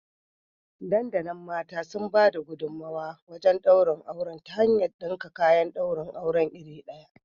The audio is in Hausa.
Dandalin mata sun bada gudumawa wajen daurin auren ta hanyar dinka kayan daurin aure iri ɗaya